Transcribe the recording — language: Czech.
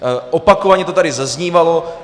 Opakovaně to tady zaznívalo.